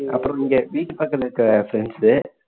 அப்பறம் இங்க வீட்டு பக்கத்துல இருக்க friends சு